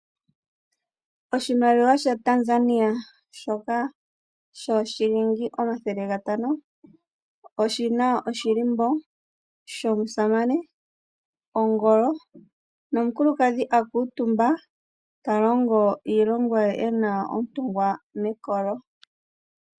Oshimaliwa shaTanzania shoka shoShilingi omathele gatano oshi na oshilimbo shomusamane, ongolo nomukulukadhi a kuutumba ta longo iilonga ye e na ontungwa mekolo.